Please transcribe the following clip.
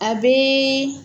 A bɛ